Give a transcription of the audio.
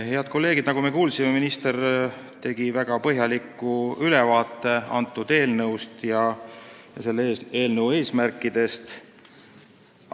Head kolleegid, nagu me kuulsime, andis minister väga põhjaliku ülevaate eelnõust, sh selle eesmärkidest.